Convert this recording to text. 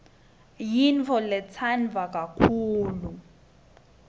yintfoletsandwa kakhulu